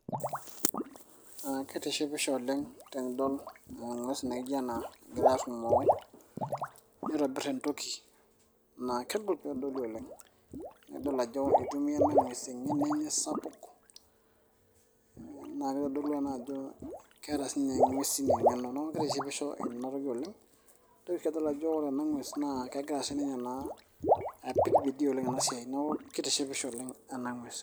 aa kitishipisho oleng tenidol eng'ues naijo ena egira arrumoo nitobirr entoki naa kegol peedoli oleng nidol ajo itumia ena ng'ues eng'eno enye sapuk naa kitodolu ena ajo keeta siininye ing'uesin eng'eno neeku kitishipisho ena toki oleng nintoki sii adol ajo ore ena ng'ues naa kegira siininye naa apiki bidii oleng naa ena siai neeku kitishipisho oleng ena ng'ues.